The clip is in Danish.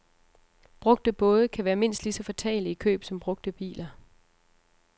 Brugte både kan være mindst lige så fatale i køb som brugte biler.